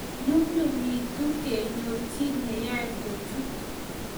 nyumnyumitu kenyor chii ne yae kuchot